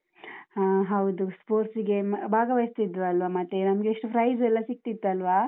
ಹಾ ಹೌದು, sports ಗೆ ಭಾಗವಹಿಸ್ತಿದ್ವಲ್ಲ, ಮತ್ತೆ ನಮ್ಗೆ ಎಷ್ಟು prize ಎಲ್ಲ ಸಿಗ್ತಿತ್ತಲ್ವಾ?